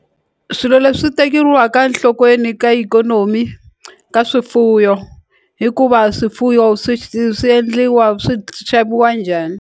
Swilo leswi tekeriwaka nhlokweni ka ikhonomi ka swifuyo hikuva swifuyo swi swi endliwa swi xaviwa njhani.